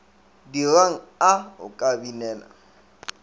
dirang a o ka binela